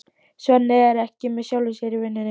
Svenni er ekki með sjálfum sér í vinnunni.